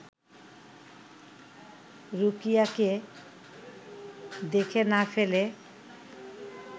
রুকিয়াকে দেখে না ফেলে